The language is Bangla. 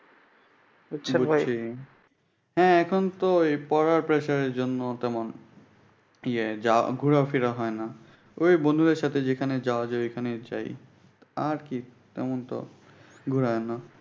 বুঝছেন ভাই? হ্যাঁ এখনতো পড়ার pressure এই জন্য ইয়ে যাওয়া ঘুরাপেরা হয়না। ঐ বন্ধুদের সাথে যেখানে যাওয়া যায় ঐখানেই যাই। আর কি এই পর্যন্ত ঘুরা।